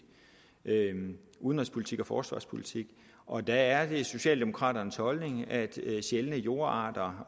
udenrigspolitik og forsvarspolitik og der er det socialdemokraternes holdning at sjældne jordarter